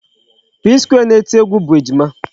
Psquare na-eti egwu bụ Ejima.